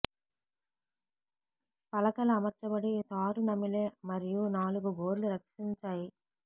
పలకలు అమర్చబడి తారు నమిలే మరియు నాలుగు గోర్లు రక్షించాయి